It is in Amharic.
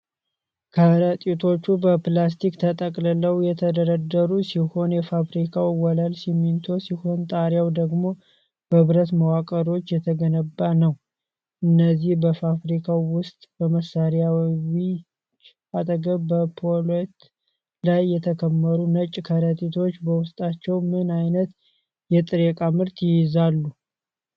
ከረጢቶቹ በፕላስቲክ ተጠቅልለው የተደረደሩ ሲሆን፣ የፋብሪካው ወለል ሲሚንቶ ሲሆን፣ ጣሪያው ደግሞ በብረት መዋቅሮች የተገነባ ነው። እነዚህ በፋብሪካው ውስጥ በመሣሪያዎች አጠገብ በፓሌት ላይ የተከመሩት ነጭ ከረጢቶች በውስጣቸው ምን አይነት የጥሬ እቃ ምርት ይዘዋል?